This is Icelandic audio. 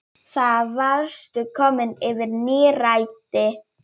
Þá varstu komin yfir nírætt.